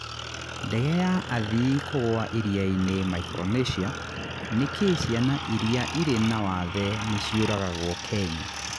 Ndege ya athii kũgũa iria-inĩ Micronesia. Nĩkĩ ciana iria irĩ na wathe nĩ ciũragagwo Kenya?